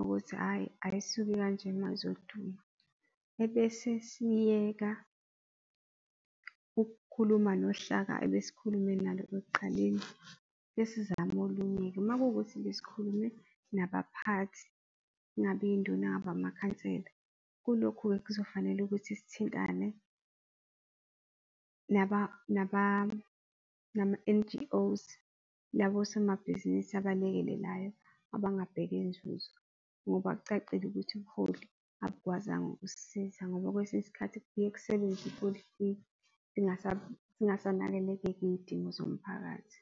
ukuthi, hhayi ayisuki kanje ma izoduma, ebese siyeka ukukhuluma nohlaka ebesikhulume nalo ekuqaleni-ke sizame olunye-ke, makuwukuthi sikhulume nabaphathi ngabe induna, ngaba amakhansela, kulokhu kuzofanele ukuthi sithintane nama N_G_Os labosomabhizinisi abalekelelayo abangabheke zuzo ngoba kucacile ukuthi ubuholi awubukwazanga uk'sisiza ngoba kwesinye isikhathi kubuye kusebenze ipolitiki zingasanakekeleka iyidingo zomphakathi.